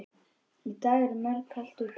Í dag er mjög kalt úti.